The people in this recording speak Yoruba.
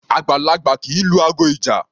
Àgbàlagbà kì í lu aago ìjà.